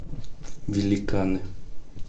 великаны